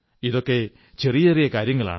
ഇതൊക്കെ ചെറിയ ചെറിയ കാര്യങ്ങളാണ്